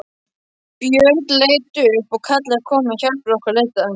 Björn leit upp og kallaði: Komiði og hjálpið okkur að leita!